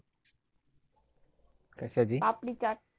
papdi chaat